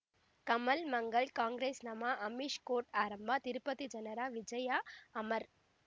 ಕಮಲ್ ಮಂಗಳ್ ಕಾಂಗ್ರೆಸ್ ನಮಃ ಅಮಿಷ್ ಕೋರ್ಟ್ ಆರಂಭ ತಿರುಪತಿ ಜನರ ವಿಜಯ ಅಮರ್